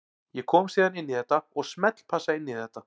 Ég kom síðan inn í þetta og smellpassa inn í þetta.